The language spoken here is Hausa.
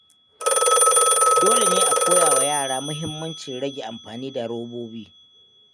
Dole ne a koya wa yara muhimmancin rage amfani da robobi.